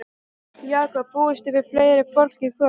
Jakob, búist þið við fleira fólki í kvöld?